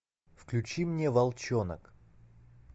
включи мне волчонок